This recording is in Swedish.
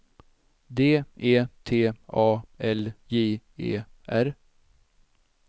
D E T A L J E R